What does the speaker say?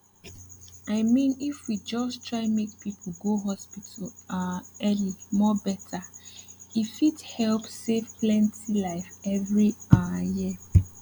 i mean if we just try make people go hospital um early more better e fit help save plenty life every um year